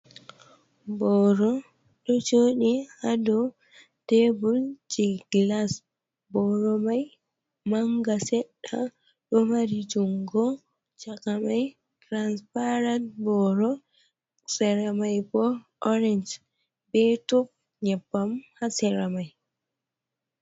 Boro ɗo joɗi ha dow tebul je glas. Boro mai manga seɗɗa, ɗo mari jungo chaka mai transparat boro sera mai bo orenj be tub nyebbam ha sera mai.